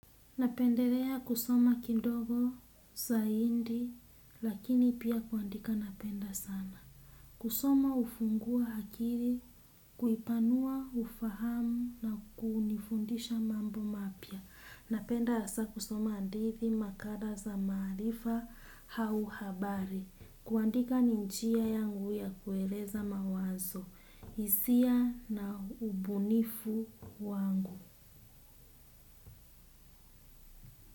Napendelea kusoma kindogo, saindi, lakini pia kuandika napenda sana. Kusoma ufungua hakiri, kuipanua, ufahamu na kunifundisha mambo mapya. Napenda asa kusoma andithi makala za maarifa hau habari. Kuandika ni njia yangu ya kueleza mawazo, isia na ubunifu wangu.